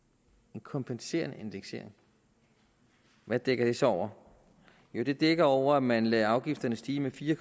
en kompenserende indeksering hvad dækker det så over jo det dækker over at man lader afgifterne stige med fire